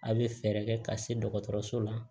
A' bɛ fɛɛrɛ kɛ ka se dɔgɔtɔrɔso la